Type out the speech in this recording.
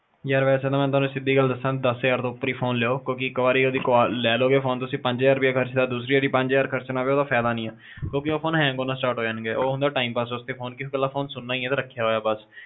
ਯਾਰ ਵੈਸੇ ਨਾ ਮੈਂ ਤੁਹਾਨੁੰ ਸਿੱਧੀ ਗੱਲ ਦੱਸਾਂ ਦਸ ਹਜ਼ਾਰ ਤੋਂ ਉੱਪਰ ਹੀ ਫੋਨ ਹੀ ਲਿਓ ਕਿਉਂਕਿ ਇਕ ਵਾਰ ਜੇ ਲੈ ਲੇਲੋਗੇ ਫੋਨ ਤੁਸੀਂ ਪੰਜ ਹਜ਼ਾਰ ਰੁਪਿਆ ਖਰਚਤਾ ਦੁਸਰੀ ਵਾਰ ਪੰਜ ਹਜਾਰ ਖਰਚਣਾ ਪਿਆ ਉਹਦਾ ਫਾਇਦਾ ਨਹੀਂ ਕਿਉਕਿ ਉਹ ਫਿਰ ਨਾ hang ਹੋਣਾ start ਹੋਜਾਣਗੇ ਉਹ ਹੁੰਦਾ time pass ਵਾਸਤੇ ਕੇ ਕੱਲਾ ਫੋਨ ਸੁਣਨਾ ਹੀ ਆ ਤੇ ਰੱਖਿਆ ਬੱਸ